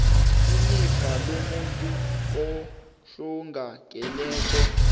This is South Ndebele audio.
ilifa lomuntu ohlongakeleko